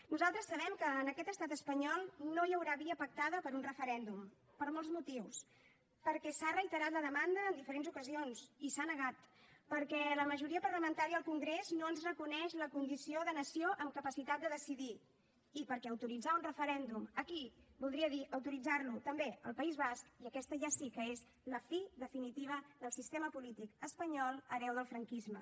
nosaltres sabem que en aquest estat espanyol no hi haurà via pactada per un referèndum per molts motius perquè s’ha reiterat la demanda en diferents ocasions i s’ha negat perquè la majoria parlamentària al congrés no ens reconeix la condició de nació amb capacitat de decidir i perquè autoritzar un referèndum aquí voldria dir autoritzar lo també al país basc i aquesta ja sí que és la fi definitiva del sistema polític espanyol hereu del franquisme